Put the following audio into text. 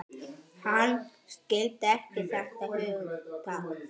Hann skildi ekki þetta hugtak.